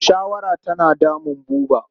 Shawara tana damun Buba.